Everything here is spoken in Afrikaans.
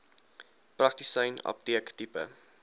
praktisyn apteek tipe